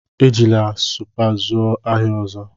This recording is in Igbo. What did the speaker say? Ejila Supa zụọ ahịa ọzọ!